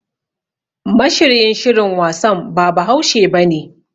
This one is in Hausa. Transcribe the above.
Mashiryin shirin wasan ba Bahaushe bane.